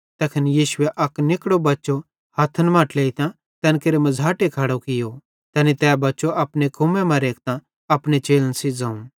तैखन यीशुए अक निकड़ो बच्चो हथ्थन मां ट्लेइतां तैन केरे मझ़ाटे खड़ो कियो तैनी तै बच्चो अपने कुम्मे मां रेखतां अपने चेलन सेइं ज़ोवं